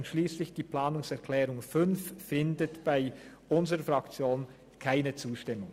Der Antrag 5 findet bei unserer Fraktion keine Zustimmung.